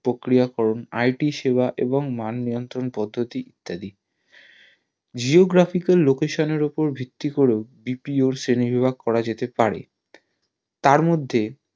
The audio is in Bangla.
প্রক্রিয়াকরণ IT সেবা এবং মান নিয়ন্ত্রণ পদ্ধুতি ইত্যাদি geographical location এর ওপরে ভিত্তি করেও BPO র শ্রেণী বিভাগ করা যেতে পারে তার মধ্যে